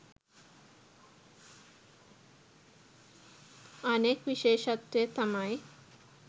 අනෙක් විශේෂත්වය තමයි